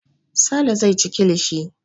Sale zai ci kilishi.